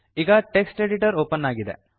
ಈಗ text editor open ಆಗಿದೆ